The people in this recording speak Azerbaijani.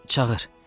Çağır.